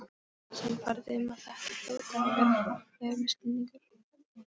Sannfærður um að þetta hljóti að vera hrapallegur misskilningur.